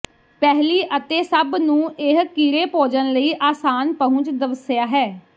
ਪਹਿਲੀ ਅਤੇ ਸਭ ਨੂੰ ਇਹ ਕੀੜੇ ਭੋਜਨ ਲਈ ਆਸਾਨ ਪਹੁੰਚ ਦਵਸਆ ਹੈ